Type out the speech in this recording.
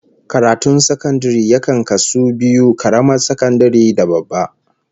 Karatun sakandare yakan kasu biyu, karamar sakandare da babba